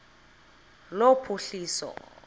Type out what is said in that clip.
lophuhliso